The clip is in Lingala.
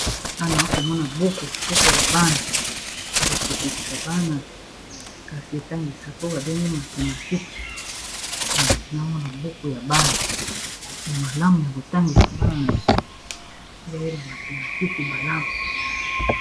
awa na komona buku ya bana ya kosepelisa bana kasi etangisaka oyo babengi buku ya Mathematique .